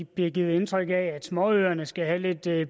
bliver givet indtryk af at småøerne skal have lidt